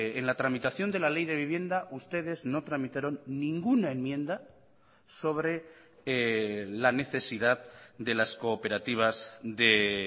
en la tramitación de la ley de vivienda ustedes no tramitaron ninguna enmienda sobre la necesidad de las cooperativas de